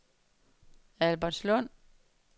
Albertslund